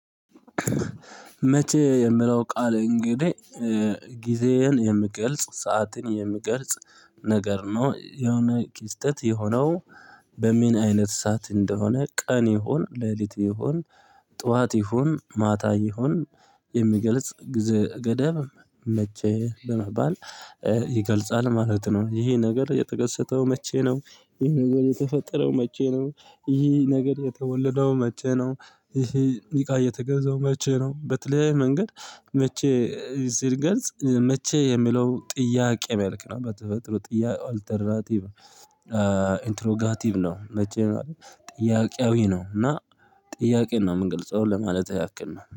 መቼ የምለው ቃል እንግዲህ ጊዜህን የምገልጽ ሰዓትን የምገልጽ ነገር ነው የሆነ ክስተት የሆነው በምን አይነት ሰዓት እንደሆነ ቀን ይሁን ሌሊት ይሁን ጠዋት ይሁን ማታ ይሁን የሚገልጽ ጊዜ ገደብም መቼ በመባል ይገልጻል ማለት ነው። ይሄ ነገር የተከሰተው መቼ ነው? ይሄ ነገር የተፈጠረው መቼ ነው? ይህ ነገር የተወለደው መቼ ነው? ይህ እቃ የተገዛው መቼ ነው? በተለይ መንገድ መቼ ሲልገልጽ መቼ የሚለው ጥያቄ መልክ ነው በተፈጥሮ ጥያቄ አልተራቲቭ ኢንትሮጋቲቭ ነው። መቼ ጥያቄያዊ ነው እና ጥያቄ ነው። የምንገልጸው ለማለትህ ያክል ነው